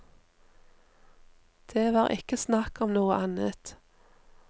Det var ikke snakk om noe annet.